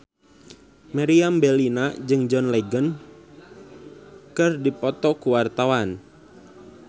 Meriam Bellina jeung John Legend keur dipoto ku wartawan